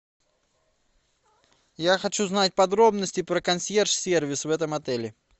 я хочу знать подробности про консьерж сервис в этом отеле